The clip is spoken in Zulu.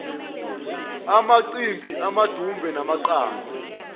amacimbi amadumbe namaqanda